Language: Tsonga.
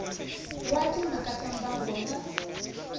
wa timhaka ta mbango na